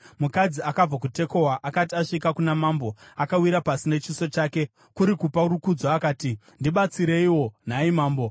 Mukadzi akabva kuTekoa akati asvika kuna mambo, akawira pasi nechiso chake, kuri kupa rukudzo, akati, “Ndibatsireiwo, nhai mambo!”